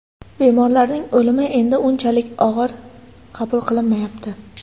Bemorlarning o‘limi endi unchalik og‘ir qabul qilinmayapti.